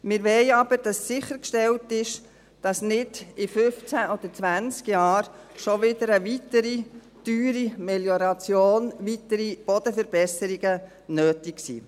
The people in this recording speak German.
Wir wollen aber, dass sichergestellt ist, dass nicht schon in 15 oder 20 Jahren wieder eine weitere teure Melioration, weitere Bodenverbesserungen, nötig sind.